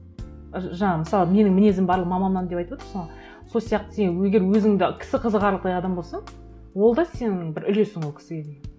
жаңағы мысалы менің мінезім барлық мамамнан деп айтып отырсың ғой сол сияқты сен егер өзің де кісі қызығарлықтай адам болсаң ол да сенің бір үлесің ол кісіге деген